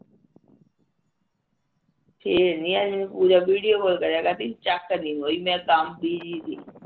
ਫੇਰ ਨੀ ਆਈ ਪੂਜਾ ਮੈਂਨੂੰ ਵਿਡੀਉ ਕਾਲ ਕਰੇਆ ਕਰਦੀ ਚੱਕ ਨਹੀਂ ਹੋਈ ਮੇਰੇ ਤੋਂ ਮੈ ਕੰਮ